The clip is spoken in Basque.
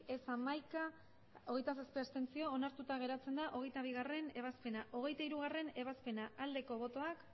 ez hamaika abstentzioak hogeita zazpi onartuta geratzen da hogeita bigarrena ebazpena hogeita hirugarrena ebazpena aldeko botoak